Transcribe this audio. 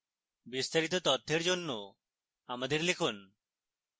বিস্তারিত তথ্যের জন্য আমাদের লিখুন